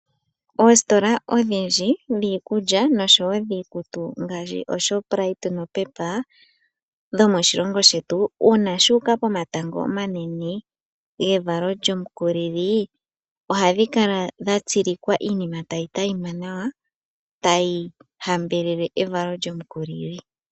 Oositola odhindji dhiikulya nosho woo dhiikutu ngaashi ooshoprite nopepa dhomoshilongo shetu, uuna shuuka pomatango omanene evalo lyomukulili, ohadhi kala dha tsilika iinima tayi tayima nawa, tayi hambelele evalo lyomukulili.